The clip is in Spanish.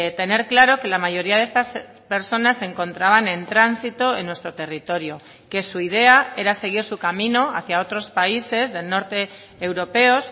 tener claro que la mayoría de estas personas se encontraban en tránsito en nuestro territorio que su idea era seguir su camino hacia otros países del norte europeos